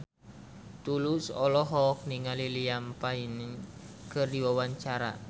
Tulus olohok ningali Liam Payne keur diwawancara